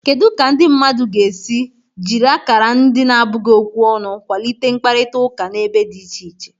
Kedu ka ndị mmadụ ga-esi jiri akara ndị na-abụghị okwu ọnụ kwalite mkparịta ụka n'ebe dị iche iche?